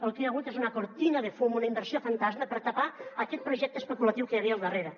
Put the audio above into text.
el que hi ha hagut és una cortina de fum una inversió fantasma per tapar aquest projecte especulatiu que hi havia al darrere